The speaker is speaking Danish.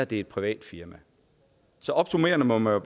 det er et privat firma så opsummerende må man